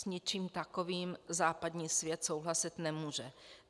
S ničím takovým západní svět souhlasit nemůže.